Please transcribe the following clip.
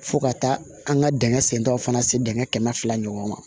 Fo ka taa an ka dingɛ sentɔn fana se dingɛ kɛmɛ fila ɲɔgɔn